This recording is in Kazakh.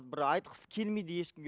бір айтқысы келмейді ешкімге